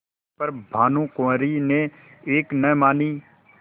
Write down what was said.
पर भानुकुँवरि ने एक न मानी